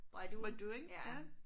By doing ja